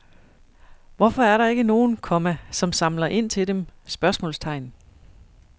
Hvorfor er der ikke nogen, komma som samler ind til dem? spørgsmålstegn